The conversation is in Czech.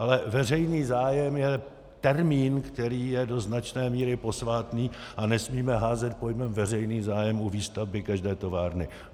Ale veřejný zájem je termín, který je do značné míry posvátný, a nesmíme házet pojmem veřejný zájem u výstavby každé továrny.